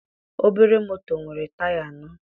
Obere moto nwere taya anọ.